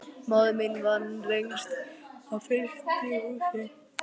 Móðir mín vann lengst af í frystihúsi.